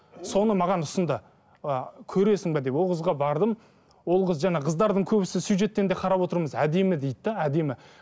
соны маған ұсынды а көресің бе деп ол қызға бардым ол қыз жаңа қыздардың көбісі сюжеттен де қарап отырмыз әдемі дейді де әдемі